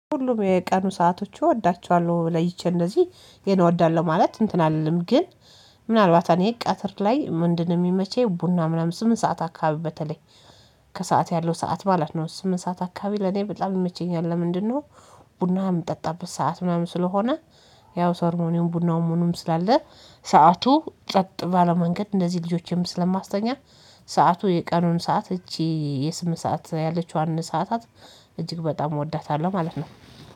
ሁሉም የቀኑ ሰአቶች እወዳቸዋለሁ ለይቼ እንደዚህ ይሄን እወዳለሁ። ማለት እንትን አልልም ግን ምናልባት እኔ ቀተር ላይ ምንድንነው የሚመቸኝ ቡና ምናምን ስምንት ሰዓት አካባቢ በተለይ ከሰአት ያለው ሰዓት ማለት ነው። ስምንት ሰዓት አካባቢ ለኔ በጣም ይመቸኛል ለምንድን ነው? ቡና የምጠጣበት ሰዓት ምናምን ስለሆነ ያው ሰርሞኒውን ቡናውም ምኑም ስላለ ሰዓቱ ጨቅ ባለ መንገድ እንደዚህ ልጆቼም ስለማስተኛ። ሰዓቱ የቀኑን ሰዓት እቺ የስምንት ሰዓት ያለችዋን ሰዓታት እጅግ በጣም እወዳታለሁ ማለት ነው